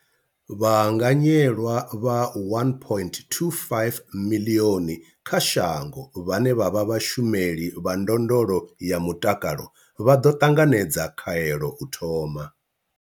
Vhaanganyelwa vha 1.25 miḽioni kha shango vhane vha vha vhashumeli vha ndondolo ya mutakalo vha ḓo ṱanganedza khaelo u thoma.